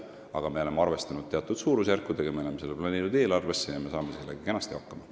Me oleme arvestanud teatud suurusjärkudega, need eelarvesse planeerinud ja me saame sellega kenasti hakkama.